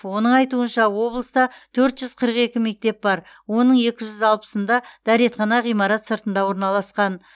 оның айтуынша облыста төрт жүз қырық екі мектеп бар оның екі жүз алпысында дәретхана ғимарат сыртында орналасқан